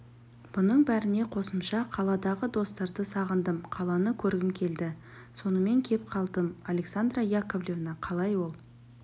бұның бәріне қосымша қаладағы достарды сағындым қаланы көргім келді сонымен кеп қалдым александра яковлевна қалай ол